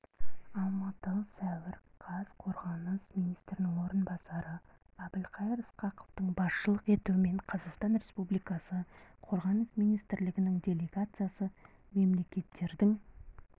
алматы сәуір қаз қорғаныс министрінің орынбасары әбілқайыр сқақовтың басшылық етуімен қазақстан республикасы қорғаныс министрлігінің делегациясы мемлекеттердің